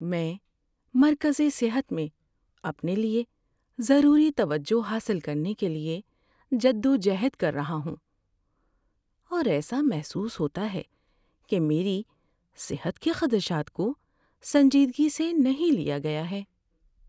میں مرکزِ صحت میں اپنے لیے ضروری توجہ حاصل کرنے کے لیے جدوجہد کر رہا ہوں، اور ایسا محسوس ہوتا ہے کہ میری صحت کے خدشات کو سنجیدگی سے نہیں لیا گیا ہے۔